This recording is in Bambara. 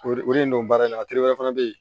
O o de don baara in na a teri wɛrɛ fana bɛ yen